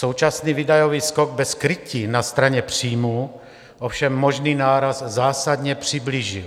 Současný výdajový skok v krytí na straně příjmů ovšem možný náraz zásadně přiblížil.